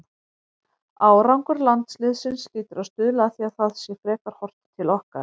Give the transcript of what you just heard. Árangur landsliðsins hlýtur að stuðla að því að það sé frekar horft til okkar.